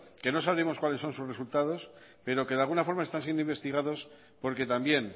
que no sabemos cuáles son sus resultados pero que de alguna forma están siendo investigados porque también